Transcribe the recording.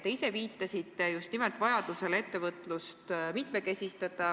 Te ise viitasite just nimelt vajadusele ettevõtlust mitmekesistada.